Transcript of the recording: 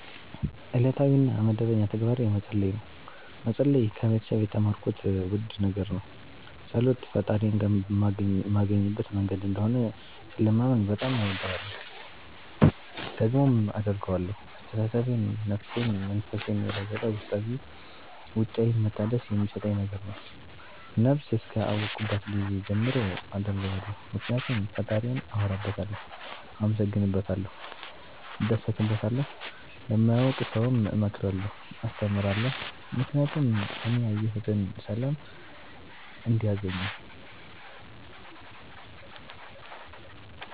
እለታዊ እና መደበኛ ተግባሬ መፀለይ ነው። መፀለይ ከቤተሰብ የተማርኩት ውድ ነገር ነው። ፀሎት ፈጣሪዬን ማገኝበት መንገድ እንደሆነ ስለማምን በጣም እወደዋለሁ። ደግሞም አደርገዋለሁ አስተሳሰቤን፣ ነፍሴን፣ መንፈሴን የለወጠ ውስጣዊም ውጫዊም መታደስ የሚሠጠኝ ነገር ነው። ነብስ እስከ አወኩባት ጊዜ ጀምሮ አደርገዋለሁ ምክኒያቱም ፈጣሪዬን አወራበታለሁ፣ አመሠግንበታለሁ፣ እደሠትበታለሁ። ለማያውቅ ሠውም እመክራለሁ አስተምራለሁ ምክኒያቱም እኔ ያየሁትን ሠላም እንዲያገኙ